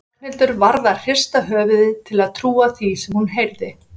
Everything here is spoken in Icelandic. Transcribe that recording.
Ragnhildur varð að hrista höfuðið til að trúa því sem hún heyrði.